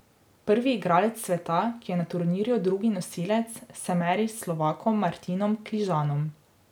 Prvi igralec sveta, ki je na turnirju drugi nosilec, se meri s Slovakom Martinom Kližanom.